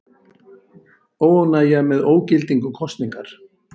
Óánægja með ógildingu kosningar